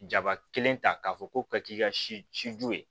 Jaba kelen ta k'a fɔ ko ka k'i ka siju ye